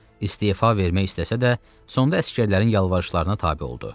İstefa vermək istəsə də, sonda əsgərlərin yalvarışlarına tabe oldu.